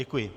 Děkuji.